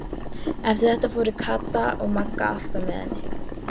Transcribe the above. Eftir þetta fóru Kata og Magga alltaf með henni.